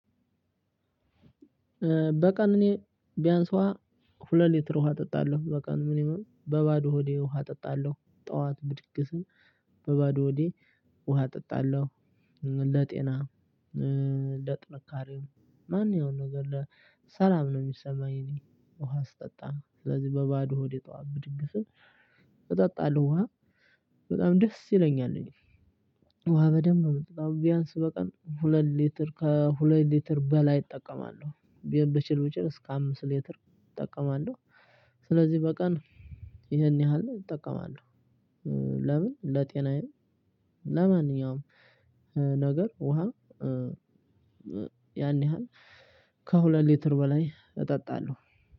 በቀን እኔ ቢያንስ ውሃ ሁለት ሊትር ውሃ እጠጣለሁ በቀን። በባዶ ሆዴ ውሃ እጠጣለሁ ጠዋት ብድግ ስል በባዶ ሆዴ ውሃ እጠጣለሁ። ለጤና ለጥንካሬም ማንኛውንም ነገር ሰላም ነው የሚሰማኝ እኔ ውሃ ስጠጣ። ስለዚህ በባዶ ሆዴ ጠዋት ብድግ ስል እጠጣለሁ ውሃ በጣም ደስ ይለኛል እኔ። ውሃ በደንብ ነው የምጠጣው። ቢያንስ በቀን ሁለት ሊትር ከሁለት ሊትር በላይ እጠቀማለሁ። ብችል ብችል እስከ አምስት ሌትር እጠቀማለሁ። ስለዚህ በቀን ይሄን ያህል እጠቀማለሁ። ለምን ለጤናዬም ለማንኛውም ነገር ውሃ ያን ያህል ከሁለት ሌተር በላይ እጠጣለሁ።